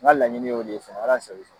N ka laɲini ye o de ye